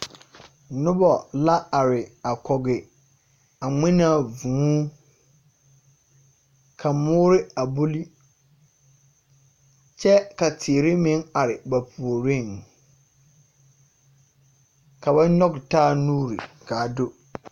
Noba la are a kɔge a ŋmenaa vũũ ka moore a buli kyɛ ka teere meŋ are ba puoriŋ. Ka banɔge taa nuuriŋ ka a do.